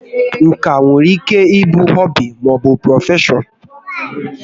Nka nwere ike ịbụ họbị maọbụ prọfeshọn